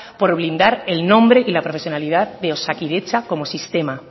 por blindar el nombre y la profesionalidad de osakidetza como sistema